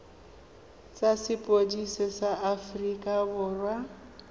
tsa sepodisi sa aforika borwa